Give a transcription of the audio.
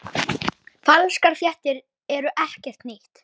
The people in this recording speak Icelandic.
Falskar fréttir eru ekkert nýtt.